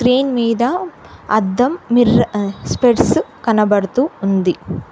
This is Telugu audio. స్క్రీన్ మీద అద్దం మిర్ ఆ స్పెట్స్ కనబడుతూ ఉంది.